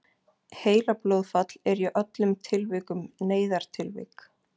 heilablóðfall er í öllum tilvikum neyðartilvik